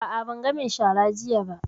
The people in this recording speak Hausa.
A'a, ban ga mai shara jiya ba.